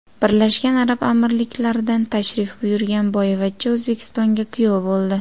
Birlashgan Arab Amirliklaridan tashrif buyurgan boyvachcha O‘zbekistonga kuyov bo‘ldi.